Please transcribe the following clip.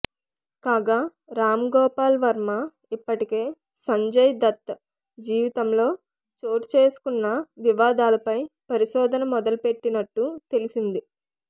కాగా రాంగోపాల్ వర్మ ఇప్పటికే సంజయ్ దత్ జీవితంలోని చోటు చేసుకున్న వివాదాలపై పరిశోధన మొదలుపెట్టినట్టు తెలిసింది